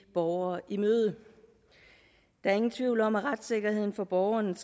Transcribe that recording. borgere i møde der er ingen tvivl om at retssikkerheden for borgerne